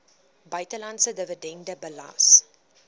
buitelandse dividende belas